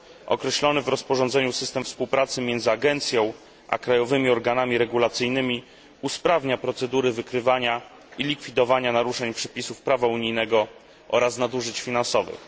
Określony w rozporządzeniu system współpracy między agencją a krajowymi organami regulacyjnymi usprawnia procedury wykrywania i likwidowania naruszeń przepisów prawa unijnego oraz nadużyć finansowych.